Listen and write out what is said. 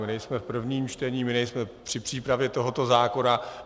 My nejsme v prvním čtení, my nejsme při přípravě tohoto zákona.